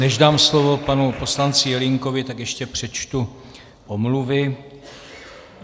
Než dám slovo panu poslanci Jelínkovi, tak ještě přečtu omluvy.